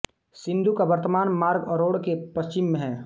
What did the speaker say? सिंधु का वर्तमान मार्ग अरोड़ के पश्चिम में है